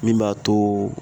Min b'a to